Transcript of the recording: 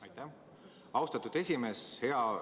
Aitäh, austatud esimees!